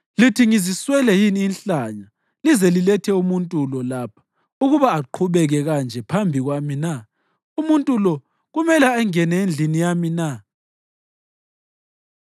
Lithi ngiziswele yini inhlanya lize lilethe umuntu lo lapha ukuba aqhubeke kanje phambi kwami na? Umuntu lo kumele angene endlini yami na?”